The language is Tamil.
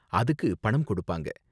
அதுக்கு பணம் கொடுப்பாங்க.